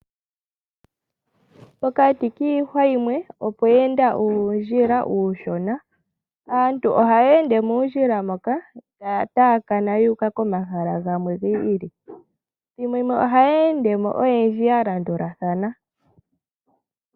Pokati kiihwa yimwe opwe enda uundjila uushona, aantu ohaye ende muundjila moka taya taakana yuuka komahala gamwe gi ili. Ethimbo limwe ohaye endemo oyendji ya landulathana.